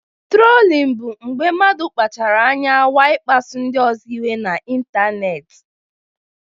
Trolin bụ mgbe mmadụ kpachaara anya nwaa ịkpasu ndị ọzọ iwe n'ịntanetị.